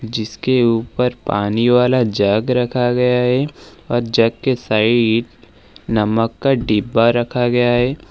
जिसके ऊपर पानी वाला जग रखा गया है और जग के साइड नमक का डिब्बा रखा गया है।